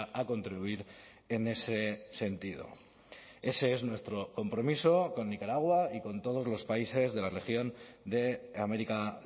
a contribuir en ese sentido ese es nuestro compromiso con nicaragua y con todos los países de la región de américa